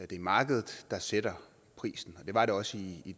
det er markedet der sætter prisen og det var det også i